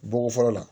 Bɔko fɔlɔ la